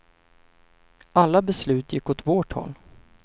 Alla beslut gick åt vårt håll.